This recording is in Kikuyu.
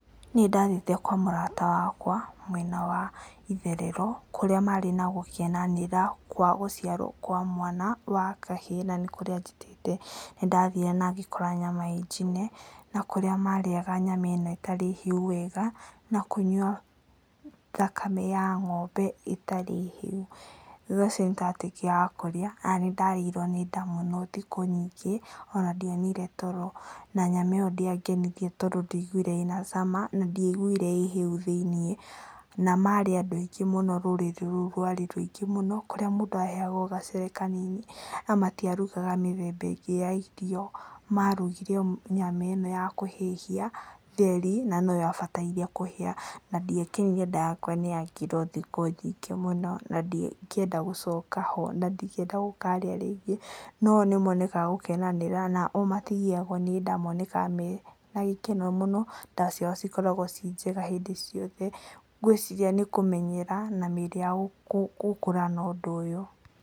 Nĩ ndathire kwa mũrata wakwa, mwena wa itherero kũrĩa marĩ na gũkenanĩra kwa gĩciarwo kwa mwana wa kahĩĩ, na nĩ kũrĩa anjĩtĩte, na nĩndathire na ngĩkora nyama ĩnjĩne, na kũrĩa marĩaga nyama ĩno ĩtarĩ hĩu wega, na kũnyua thakame ya ng'ombe ĩtarĩ hĩu. Na ndarĩkia kũrĩa nĩ ndarĩirwo nĩ nda mũno thikũ nyingĩ ona ndionire toro, na nyama ĩyo ndĩangenirie tondo ndaigũire ĩna cama, na ndiaigũire ĩhĩu thĩinĩ. Na marĩ andũ aingĩ mũno, rũrĩrĩ rũu rũari rũingĩ mũno, kũrĩa mũndũ aheyagwo gacere kanini, na matiarugaga mĩthemba ĩngĩ ya irio. Marugire o nyama ĩno ya kũhĩhia theri, na noyabataire kũhĩa, na ndiakenire nda yakwa nĩyangiire thikũ nyingĩ mũno, na ndingĩenda gũcoka ho, na ndingĩenda gũkarĩa rĩngĩ. No o nĩmonekaga gũkenanĩra, na o matigiagwo nĩnda monekaga menagĩkeno mũno, nda ciao cikoragwo ciĩnjega mũno hĩndĩ ciothe. Ngwĩciria nĩ kũmenyera, na mĩĩrĩ yao gũkũra na ũndũ ũyũ.